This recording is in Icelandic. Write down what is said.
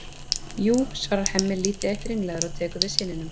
Ha, jú, svarar Hemmi lítið eitt ringlaður og tekur við syninum.